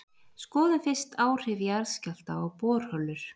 skoðum fyrst áhrif jarðskjálfta á borholur